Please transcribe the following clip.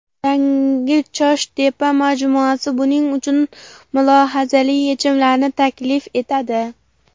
Yangi ChoshTepa majmuasi buning uchun mulohazali yechimlarni taklif etadi.